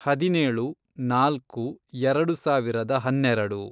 ಹದಿನೇಳು, ನಾಲ್ಕು, ಎರೆಡು ಸಾವಿರದ ಹನ್ನೆರೆಡು